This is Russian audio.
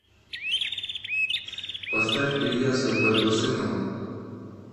поставь ильяса байбосынова